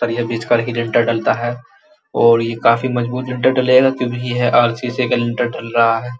पर ये ही लिनटेर डलता है और ये काफी मजबूत लिनटेर ढलेगा क्यूंकी ये है आरसीसी का लिन्टर ढल रहा है।